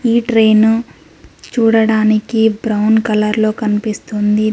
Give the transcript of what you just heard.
ఈ ట్రైన్ చూడడానికి brown colour లో కనిపిస్తుంది.